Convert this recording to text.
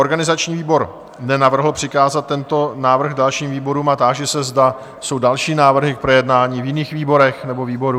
Organizační výbor nenavrhl přikázat tento návrh dalším výborům a táži se, zda jsou další návrhy k projednání v jiných výborech nebo výboru?